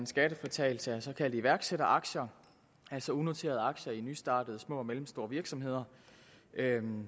skattefritagelse såkaldte iværksætteraktier altså unoterede aktier i nystartede små og mellemstore virksomheder det er en